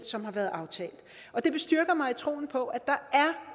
som har været aftalt og det bestyrker mig i troen på at der